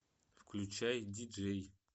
включай диджей